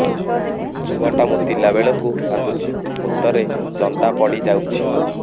ଛୁଆ ଟା ମୁତିଲା ବେଳକୁ କାନ୍ଦୁଚି ମୁତ ରେ ଜନ୍ଦା ପଡ଼ି ଯାଉଛି